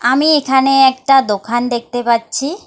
আমি এখানে একটা দোখান দেখতে পাচ্ছি।